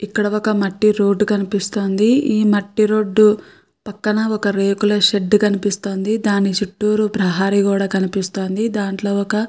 ఇక్కడ ఒక మట్టి రోడ్డు కనిపిస్తుంది ఈ మట్టి రోడ్డు పక్కన రేకుల షెడ్ కనిపిస్తుంది దాని చుట్టూరు ప్రహరీ గోడ కనిపిస్తోంది దాంట్లో ఒక.